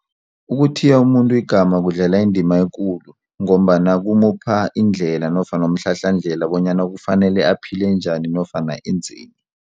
Ukuthiya umuntu igama kudlala indima ekulu ngombana kumupha indlela nofana umhlahlandlela bonyana kufanele aphile njani nofana enzeni.